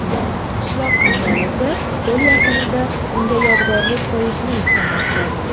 Qishloq aholisi ko‘l yaqinida unga yodgorlik qo‘yishni istamoqda.